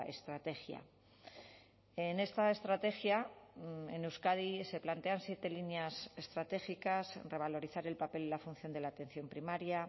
estrategia en esta estrategia en euskadi se plantean siete líneas estratégicas revalorizar el papel y la función de la atención primaria